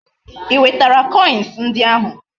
I wetara koins ndi ahu?